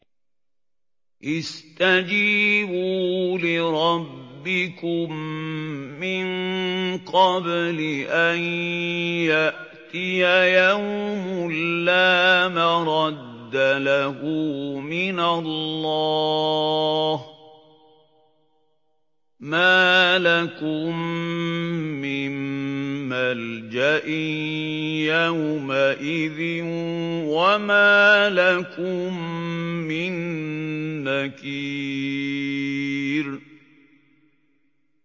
اسْتَجِيبُوا لِرَبِّكُم مِّن قَبْلِ أَن يَأْتِيَ يَوْمٌ لَّا مَرَدَّ لَهُ مِنَ اللَّهِ ۚ مَا لَكُم مِّن مَّلْجَإٍ يَوْمَئِذٍ وَمَا لَكُم مِّن نَّكِيرٍ